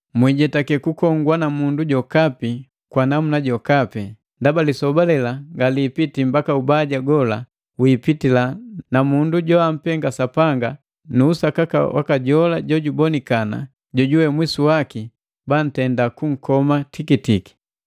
Mwiijetake kukongwa na mundu jokapi kwa namuna jokapi. Ndaba lisoba lela nga lipitile mbaka ubaja gola wiipitila na Mundu joampenga Sapanga nu usakaka waka jola jubonikana, jojuwe mwisu waki banntenda kunkoma tikitiki.